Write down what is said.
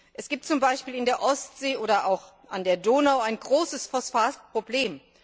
Es gibt zum Beispiel in der Ostsee oder auch an der Donau ein großes Phosphatproblem.